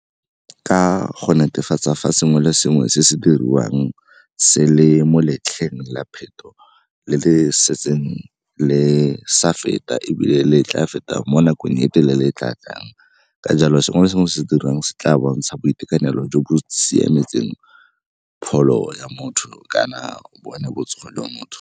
Ka go netefatsa fa sengwe le sengwe se se diriwang se le mo letlheng la phetho le le setseng le sa feta ebile le tla feta mo nakong e telele e tla tlang. Ka jalo sengwe le sengwe se se dirang se tla bontsha boitekanelo jo bo siametseng pholo ya motho kana bone botsogo jwa motho.